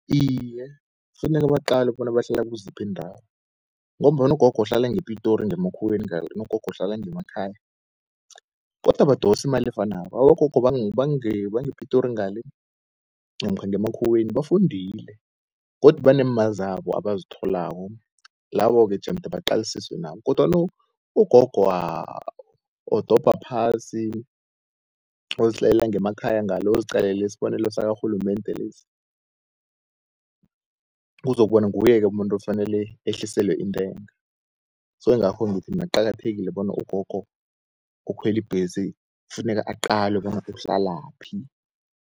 Iye kufuneka baqalwe bona bahlala kuziphi iindawo, ngombana ogogo ohlala ngePitori ngemakhuweni ngale nobogogo uhlala ngemakhaya, kodwa badosi imali efanako. Abogogo bangePitori ngale, namkha ngemakhuweni bafundile. godi banemali zabo abazitholako labo-ke jemde baqalisiswe nabo, kodwana ugogo odobha phasi ozihlalela ngemakhaya ngale, uziqalele isbonelo sakarhulumende lesi, kuzokuba nguye umuntu afanele ehliselwe intengo. So ngakho ngithi mina kuqakathekile bona ugogo okhweli bhesi kufuneka aqalwe bona uhlalaphi.